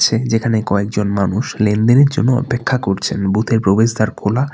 ঠিক যেখানে কয়েকজন মানুষ লেনদেনের জন্য অপেক্ষা করছেন বুথ -এর প্রবেশদ্বার খোলা।